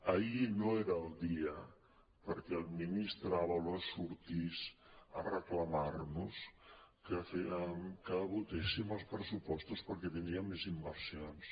ahir no era el dia perquè el ministre ábalos sortís a reclamar nos que votéssim els pressupostos perquè tindríem més inversions